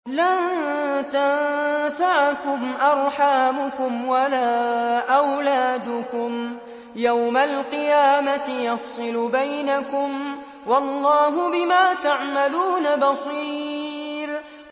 لَن تَنفَعَكُمْ أَرْحَامُكُمْ وَلَا أَوْلَادُكُمْ ۚ يَوْمَ الْقِيَامَةِ يَفْصِلُ بَيْنَكُمْ ۚ وَاللَّهُ بِمَا تَعْمَلُونَ بَصِيرٌ